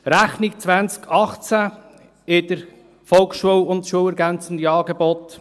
Rechnung 2018 für die Volksschule und die schulergänzenden Angebote.